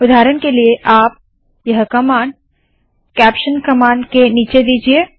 उदाहरण के लिए आप यह कमांड कैप्शन कमांड के नीचे दीजिए